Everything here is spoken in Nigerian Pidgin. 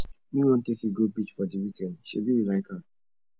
me wan take you go beach for di weekend sebi you like am